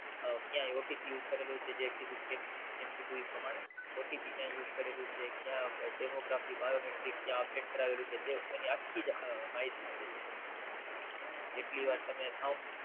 ક્યાંય OTPUse કરેલું છે જેમ કીધું એ પ્રમાણે ક્યાં Demography biometric ક્યાં Update કરાવેલું છે તે એની આખ્ખી માહિતી મળી જાય જેટલીવાર તમે Thump